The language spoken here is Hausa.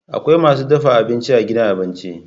Akwai masu dafa abinci a gidan abinci.